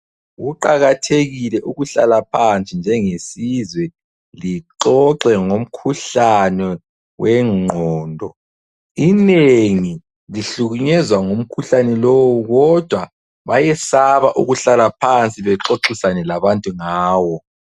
Kuqakathekile ukuhlala phansi njengesizwe lixoxe ngomkhuhlane wengqondo. Inengi lihlukunyezwa ngumkhuhlane lowu kodwa bayesaba ukuhlala phansi bexoxisane labantu ngawo.